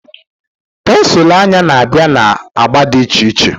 Pensụl anya na-abịa na agba dị iche iche